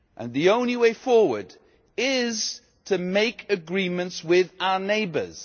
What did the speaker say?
The only way forward is to make agreements with our neighbours